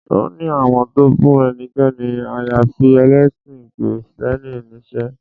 Wọ́n ní àwọn ò fún ẹnikẹ́ni àyàfi ẹlẹ́sìn kìrìtẹ́nì níṣẹ́